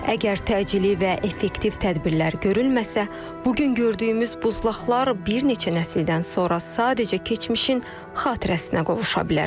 Əgər təcili və effektiv tədbirlər görülməsə, bu gün gördüyümüz buzlaqlar bir neçə nəsildən sonra sadəcə keçmişin xatirəsinə qovuşa bilər.